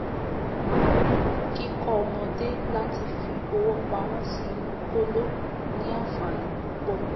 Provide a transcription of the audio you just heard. kíkọ́ ọmọdé láti fi owó pamó sí inú kóló ní ànfàní púpọ̀